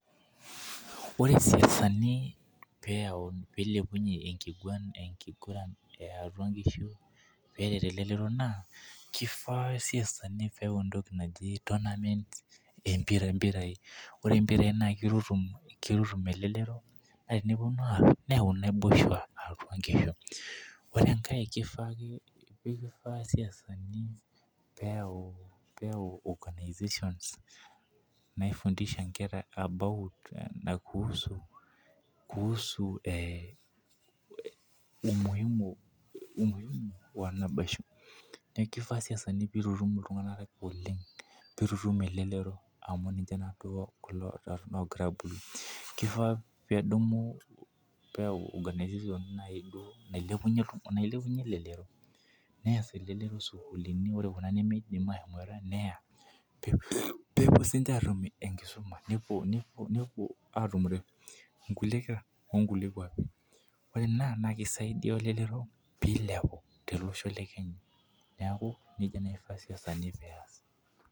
Ore isiasani pee ilepunye enkiguran, eyatua nkishu peret elelero naa kifaa isiasani pee eyau entoki naji tournaments empira. ore mpirai naa kitutum elelero. naa nepuonu aar .ore enkae kifaa isiasani, peeyau organization naifundishae nkera about kuusu, umuhimu wa naboisho . Neeku, kifaa isiasani pee itum iltunganak elelero amu ninye loogira abulu. kifaa peedumu organization nailepunye elelero. neya elelero sukuulini. kuna nimidim aashomoita. neya peepuo sii ninche atum enkisuma, nepuo aatumore kulie kera ok nkulie kuapi ore Ina naa kisaidia, iltunganak pee ilepu tele Osho le kenya. neeku nejia ifaa isiasani pee.